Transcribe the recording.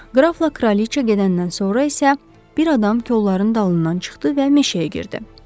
Qrafla kraliça gedəndən sonra isə bir adam kolların dalından çıxdı və meşəyə girdi.